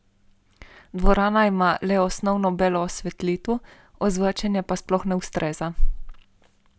Dvorana ima le osnovno belo osvetlitev, ozvočenje pa sploh ne ustreza.